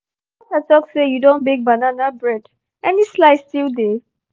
your your daughter talk say you don bake banana bread — any slice still dey?